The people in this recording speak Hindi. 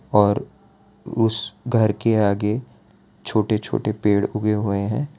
और उस घर के आगे छोटे छोटे पेड़ उगे हुए हैं।